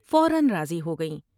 فورا راضی ہوگئیں ۔